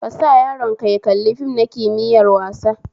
Kasa yaron ka ya kalli fim na kimiyar wasa